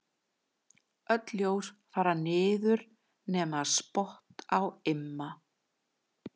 Öll ljós fara niður nema spott á Imma.